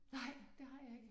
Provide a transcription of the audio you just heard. Nej det har jeg ikke